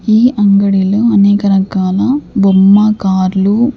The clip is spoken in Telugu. ఈ అంగడిలో అనేక రకాల బొమ్మ కార్లు--